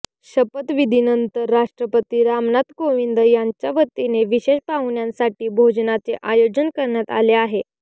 शपथविधीनंतर राष्ट्रपती रामनाथ कोविंद यांच्यावतीने विशेष पाहुण्यांसाठी भोजनाचे आयोजन करण्यात आले आहे